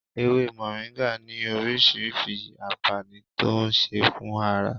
Ewé moringa ní orísìírísìí anfaani tó ń ṣe fún ara